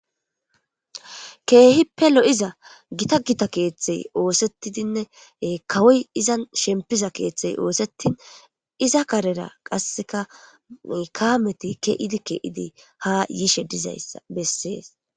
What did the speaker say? Keehippelo'iza gita gita keeththey oosettidinne kawoy izan shempiza keeththey oosettin iza karera qasseka kaameti ke idi ke idi ha yiishe dizayssa bessees.